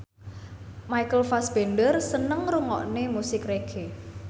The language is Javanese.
Michael Fassbender seneng ngrungokne musik reggae